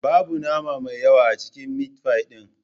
Babu nama mai yawa a cikin mitfai ɗin